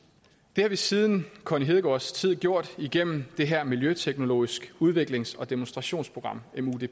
det har vi siden connie hedegaards tid gjort igennem det her miljøteknologiske udviklings og demonstrationsprogram